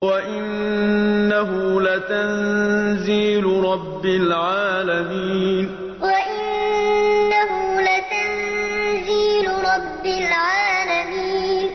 وَإِنَّهُ لَتَنزِيلُ رَبِّ الْعَالَمِينَ وَإِنَّهُ لَتَنزِيلُ رَبِّ الْعَالَمِينَ